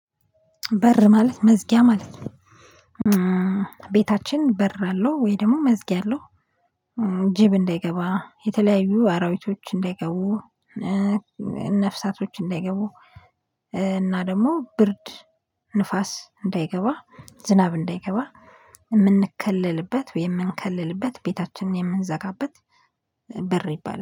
በር ማለት መዝጊያ ማለት ነው። ቤታችን በር አለው ወይ ደግሞ መዝጊያ አለው? ጅብ እንዳይገባ የተለያዩ አራዊቶች እንዳይገቡ። ነፍሳቶች እንዳይገቡ። እና ደግሞ ብርድ ንፋስ እንዳይገባ ዝናብ እንዳይገባ። የምንከለልበት የምንከለልበት ቤታችን የምንዘጋበት በር ይባላል